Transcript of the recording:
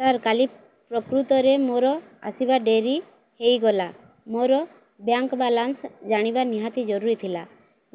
ସାର କାଲି ପ୍ରକୃତରେ ମୋର ଆସିବା ଡେରି ହେଇଗଲା ମୋର ବ୍ୟାଙ୍କ ବାଲାନ୍ସ ଜାଣିବା ନିହାତି ଜରୁରୀ ଥିଲା